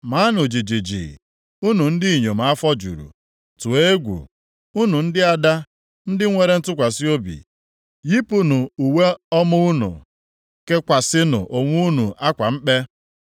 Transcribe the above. Maanụ jijiji, unu ndị inyom afọ juru, tụọ egwu unu ndị ada ndị nwere ntụkwasị obi. Yipụnụ uwe ọma unu, kekwasịnụ onwe unu akwa mkpe.